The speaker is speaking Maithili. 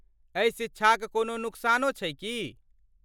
एहि शिक्षाक कोनो नुकसानो छै की?